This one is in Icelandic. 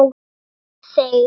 Þeir, þeir!